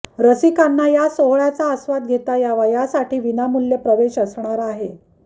रसिकांना या सोहळ्याचा आस्वाद घेता यावा यासाठी विनामुल्य प्रवेश असणार आहे